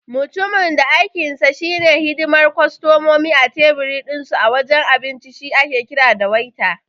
Mutumin da aikinsa shi ne hidimar kostomomi a tebir dinsu a wajen abinci shi ake kira da Waiter.